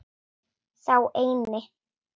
Sá eini.